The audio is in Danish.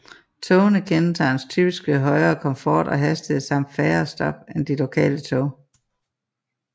Togene kendetegnes typisk ved højere komfort og hastighed samt færre stop end de lokale tog